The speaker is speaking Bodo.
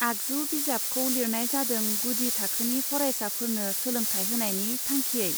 आगजु बिजाब खौ लिरनाय जादों गुदि थाखोनि फरायसाफोरनो सोलोंथाय होनायनि थांखियै.